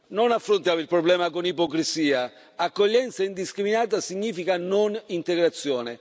Non affrontiamo il problema con ipocrisia accoglienza indiscriminata significa non integrazione.